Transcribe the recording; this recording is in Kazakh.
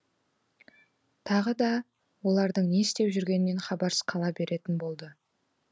тағы да олардың не істеп жүргенінен хабарсыз қала беретін болды